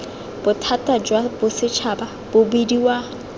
bothata jwa bosetšhaba bo bidiwa